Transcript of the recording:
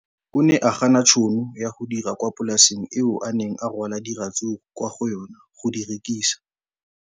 O ne a gana tšhono ya go dira kwa polaseng eo a neng rwala diratsuru kwa go yona go di rekisa.